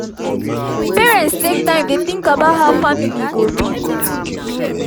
parents take time dey think about how family go be